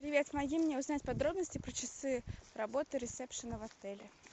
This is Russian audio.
привет помоги мне узнать подробности про часы работы ресепшена в отеле